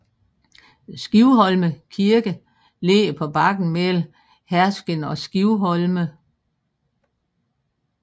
Skivholme Kirke ligger på bakken mellem Herskind og Skivholme